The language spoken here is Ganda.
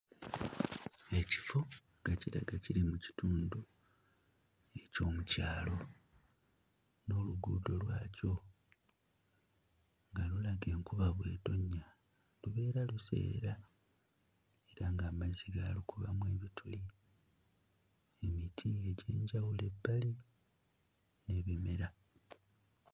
Ekifo nga kiraga kiri mu kitundu eky'omu kyalo n'oluguudo lwakyo nga lulaga enkuba bw'etonnya lubeera luseerera kubanga amazzi gaalukubamu ebituli emiti egy'enjawulo ebbali n'ebimera.